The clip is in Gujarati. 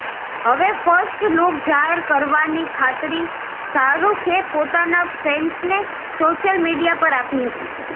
હવે ફર્સ્ટ લૂક જાહેર કરવાની ખાતરી શાહરુખે પોતાના ફેન્સને સોશ્યલ મિડિયા પર આપી હતી